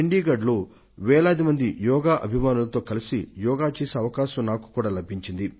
చండీగఢ్ లో వేలాది మంది యోగా అభిమానులతో కలసి యోగా చేసే అవకాశాన్ని నేను సైతం పొందాను